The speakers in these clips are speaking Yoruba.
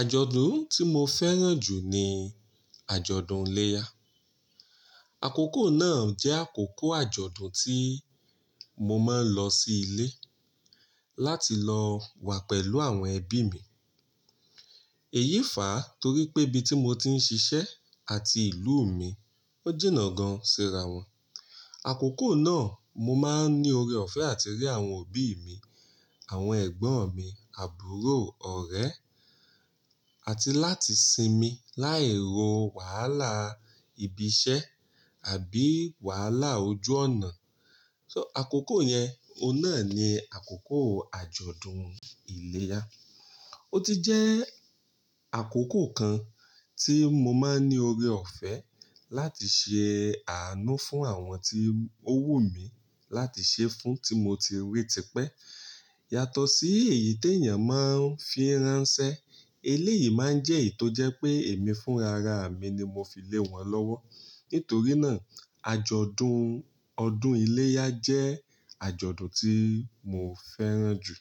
Àjọ̀dún tí mo fẹ́ràn jù ni àjọ̀dún iléyá. Àkókò náà jẹ́ àkókò àjọ̀dún tí mo máa ń lọ sí ilé láti lọ wà pẹ̀lú àwọn ẹbí mi. Èyí fàá torí pé ibi tí mo ti ń ṣiṣẹ́ àti ìlú mi ó jìnà gan síra wọn. Àkókò náà mo máa ń ní ọrẹ ọ̀fẹ́ àti rí àwọn òbí mi, àwọn ẹ̀gbọ́n mi, àbúrò ọ̀rẹ́ àti láti sinmi láì ro wàhálà ibi iṣẹ́ àbí wàhálà ojú ọ̀nà. So àkókò yẹn, óun náà ni àkókò àjọ̀dún iléyá. Ó ti jẹ́ àkókò kan tí mo máa ń ní ọrẹ ọ̀fẹ́ láti ṣe àánú fún àwọn tí ó wù mí láti ṣe fún tí mo ti rí tipẹ́. Yàtọ̀ sí èyí tí èèyàn máa ń fi ránṣẹ́, eléyìí máa ń jẹ́ èyí tó jẹ́ pé èmi fúnra ra mi ni mo fi lé wọn lọ́wọ́. Nítorí náà àjọ̀dún ọdún iléyá jẹ́ àjọ̀dún tí mo fẹ́ràn jù.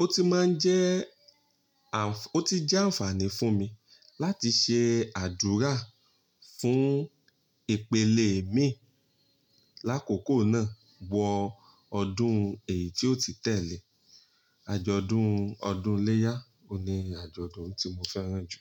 Ó ti máa ń jẹ́ àń-- ó ti jẹ́ àǹfààní fún mi láti ṣe àdúrà fún ìpele mi lákòókò náà wọ ọdún èyí tí ó ti tẹ́lẹ̀. Àjọ̀dún ọdún iléyá oun ni àjọ̀dún tí mo fẹ́ràn jù.